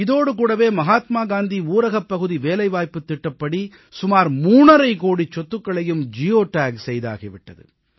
இதோடு கூடவே மஹாத்மா காந்தி ஊரகப்பகுதி வேலைவாய்ப்புத் திட்டப்படி சுமார் மூணரைக் கோடிச் சொத்துக்களையும் ஜியோ டேக் செய்தாகி விட்டது